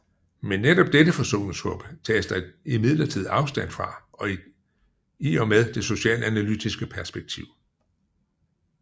Men netop dette forsoningshåb tages der imidlertid afstand fra i og med det socialanalytiske perspektiv